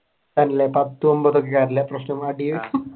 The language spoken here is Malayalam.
തന്നെ പത്തു ഒൻപതു